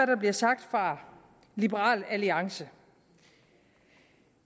der bliver sagt fra liberal alliance